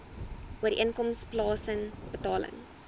ooreenkoms plaasen betaling